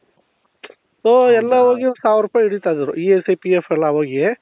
so ಎಲ್ಲಾ ಹೋಗಿ ಒಂದು ಸಾವಿರ ರೂಪಾಯಿ ಹಿಡೀತಾ ಇದ್ರೂ ESI PF ಎಲ್ಲಾ ಹೋಗಿ